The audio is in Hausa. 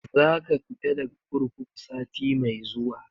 Za ka fita daga kurkuku sati mai zuwa.